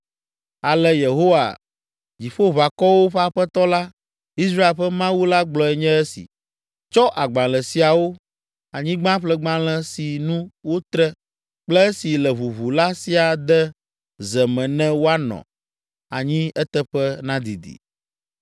‘Ale Yehowa, Dziƒoʋakɔwo ƒe Aƒetɔ la, Israel ƒe Mawu la gblɔe nye esi: Tsɔ agbalẽ siawo, anyigbaƒlegbalẽ si nu wotre kple esi le ʋuʋu la siaa de ze me ne woanɔ anyi eteƒe nadidi.